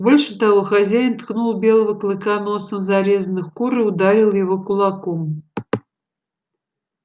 больше того хозяин ткнул белого клыка носом в зарезанных кур и ударил его кулаком